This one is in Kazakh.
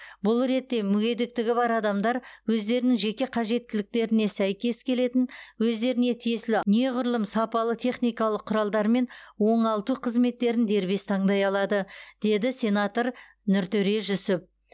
бұл ретте мүгедектігі бар адамдар өздерінің жеке қажеттіліктетіне сәйкес келетін өздеріне тиесілі неғұрлым сапалы техникалық құралдар мен оңалту қызметтерін дербес таңдай алады деді сенатор нұртөре жүсіп